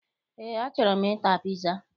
Eé, achọrọ m ịta piza